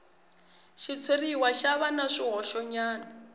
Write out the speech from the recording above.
xitshuriwa xo va na swihoxonyana